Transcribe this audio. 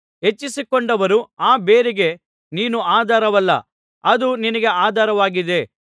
ಹೆಚ್ಚಿಸಿಕೊಂಡರೂ ಆ ಬೇರಿಗೆ ನೀನು ಆಧಾರವಲ್ಲ ಅದು ನಿನಗೆ ಆಧಾರವಾಗಿದೆ